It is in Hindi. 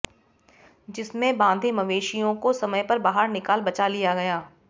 जिसमें बांधे मवेशियों को समय पर बाहर निकाल बचा लिया गया